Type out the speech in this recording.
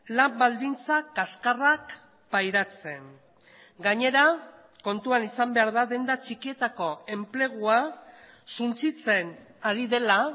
lan baldintza kaskarrak pairatzen gainera kontuan izan behar da denda txikietako enplegua suntsitzen ari dela